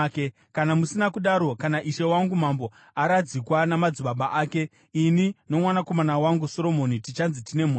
Kana musina kudaro, kana ishe wangu mambo aradzikwa namadzibaba ake, ini nomwanakomana wangu Soromoni tichanzi tine mhosva.”